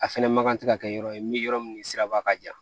A fɛnɛ ma kan tɛ ka kɛ yɔrɔ ye min yɔrɔ min siraba ka jan